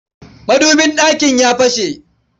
Madubin ɗakin ya fashe.